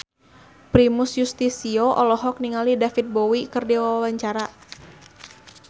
Primus Yustisio olohok ningali David Bowie keur diwawancara